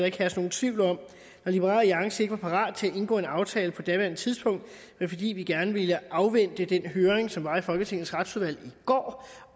ikke herske nogen tvivl om når liberal alliance ikke var parat til at indgå en aftale på daværende tidspunkt var det fordi vi gerne ville afvente den høring som var i folketingets retsudvalg i går